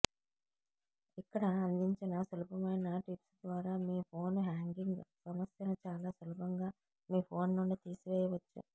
ఇక్కడ అందించిన సులభమైన టిప్స్ ద్వారా మీ ఫోన్ హ్యాంగింగ్ సమస్యను చాలా సులభంగా మీ ఫోన్ నుండి తీసివేయవచ్చు